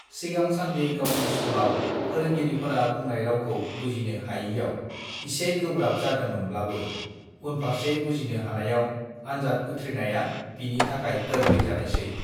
सिगां सान्दि गावनि स्कुलाव फोरोंगिरिफोरा बुंनाय रावखौ बुजिनो हायिआव इसे गोब्राब जादोंमोवब्लाबो उनफारसे बुजिनो हानायआव आनजाद उथ्रिनाया बिनि थाखाय गोर्लइ जानायसै